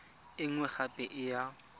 e nngwe gape e ya